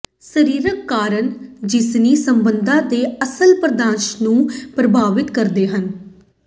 ਸਰੀਰਕ ਕਾਰਕ ਜਿਨਸੀ ਸੰਬੰਧਾਂ ਦੇ ਅਸਲ ਪ੍ਰਦਰਸ਼ਨ ਨੂੰ ਪ੍ਰਭਾਵਿਤ ਕਰਦੇ ਹਨ